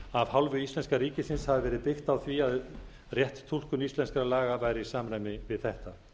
af hálfu íslenska ríkisins hafi verið byggt á því að rétt túlkun íslenskra laga væri í samræmi við þetta